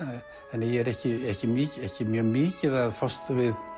þannig að ég er ekki ekki ekki mjög mikið að fást við